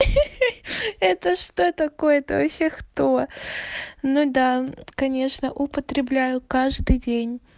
ха-ха это что такое-то это вообще кто ну да конечно употребляю каждый день